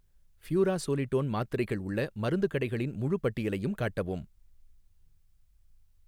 furazolidone மாத்திரைகள் உள்ள மருந்துக் கடைகளின் முழுப் பட்டியலையும் காட்டவும்